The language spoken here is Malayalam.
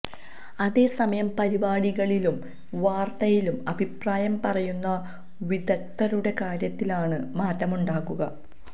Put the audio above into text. അതേ സമയം പരിപാടികളിലും വാര്ത്തയിലും അഭിപ്രായം പറയുന്ന വിദഗ്ദ്ധരുടെ കാര്യത്തിലാണ് മാറ്റമുണ്ടാകുക